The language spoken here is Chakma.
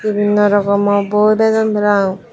nana rokomo boi bejon parapang.